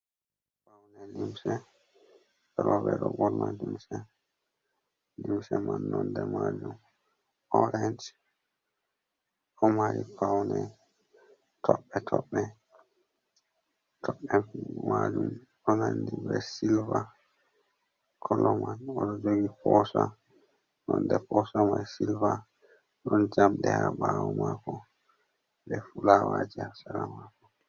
Paune limse roɓɓe ɗo ɓorna limse, limse man nonde majum orang ɗo mari paune toɓɓe toɓɓe, toɓɓe majum ɗo nandi be silver kolo man oɗo jogi posa nonde posa mai silver ɗon jamɗe ha ɓawo mako be fulawaje ha sera mako.